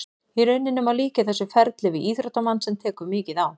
Í raun má líkja þessu ferli við íþróttamann sem tekur mikið á.